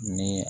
Ni